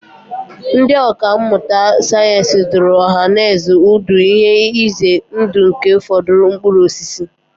Ndị ọkà mmụta sayensị dụrụ ọhanaeze ọdụ ihe ize ndụ nke ụfọdụ mkpụrụ osisi